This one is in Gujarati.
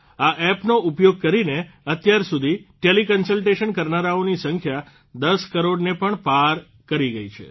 આ એપનો ઉપયોગ કરીને અત્યાર સુધી ટેલીકન્સલટેશન કરનારાઓની સંખ્યા ૧૦ કરોડને પણ પાર કરી ગઇ છે